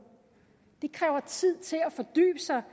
det kræver tid til at fordybe sig